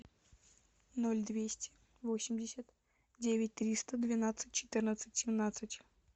ноль двести восемьдесят девять триста двенадцать четырнадцать семнадцать